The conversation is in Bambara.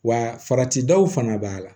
Wa farati daw fana b'a la